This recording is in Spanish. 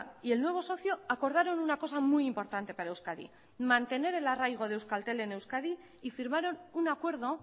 y el nuevo socio acordaron una cosa muy importante para euskadi mantener el arraigo de euskaltel en euskadi y firmaron un acuerdo